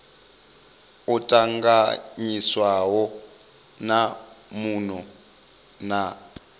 o tanganyiswaho na muno na